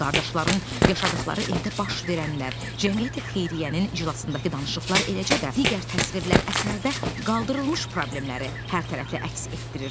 Qardaşların yaşadıqları evdə baş verənlər, cəmiyyəti xeyriyyənin iclasındakı danışıqlar eləcə də digər təsvirlər əsərdə qaldırılmış problemləri hərtərəfli əks etdirir.